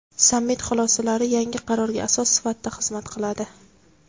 Sammit xulosalari yangi qarorga asos sifatida xizmat qiladi.